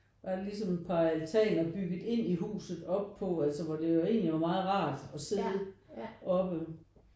Var der ligesom et par altaner bygget ind i huset op på altså hvor det var egentlig meget rart at sidde oppe